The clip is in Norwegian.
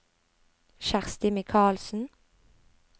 Kjersti Mikalsen